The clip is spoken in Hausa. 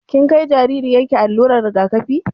Kin kai jaririyar ki allurar rigakafi?